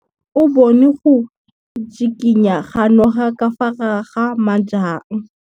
O bone go tshikinya ga noga ka fa gare ga majang.